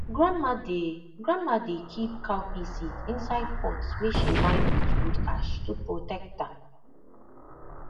grandma dey grandma dey keep cowpea seed inside pot wey she line with wood ash to protect am